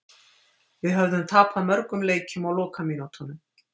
Við höfðum tapað mörgum leikjum á lokamínútunum.